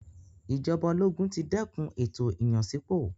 Ìjọba ológun ti dẹ́kun ètò ìyànsípò.